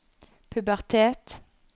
pubertet